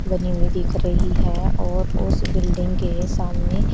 बनी हुई दिख रही है और उस बिल्डिंग के सामने--